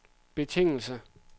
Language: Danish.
betingelse